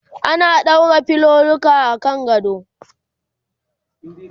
ana ɗaura filoluka akan gado